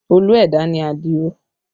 Olú ẹ̀dá ni Adio